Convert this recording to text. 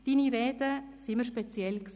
Deine Reden waren immer speziell.